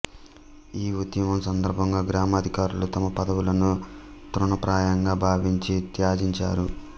ఈ ఉద్యమం సందర్భంగా గ్రామాధికారులు తమ పదవులను తృణప్రాయంగా భావించి త్యజించారు